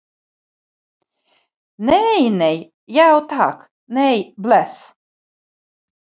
Nei, nei, já takk, nei, bless.